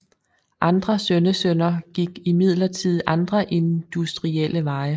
Andre sønnesønner gik imidlertid andre industrielle veje